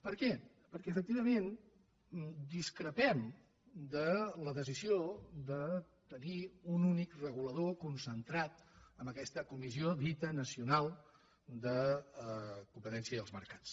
per què perquè efectivament discrepem de la decisió de tenir un únic regulador concentrat en aquesta co·missió dita nacional de competència i els mercats